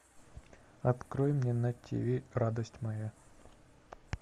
открой мне на тиви радость моя